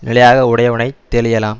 நிலையாக உடையவனை தெளியலாம்